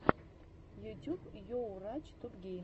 ютюб йурач топгеймс